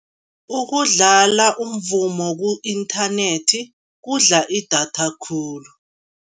Ukudlala umvumo ku-inthanethi kudla idatha khulu.